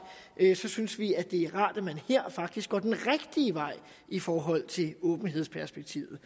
synes vi det er rart at man her i forhold til åbenhedsperspektivet